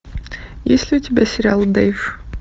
есть ли у тебя сериал дэйв